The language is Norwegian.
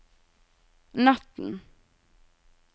natten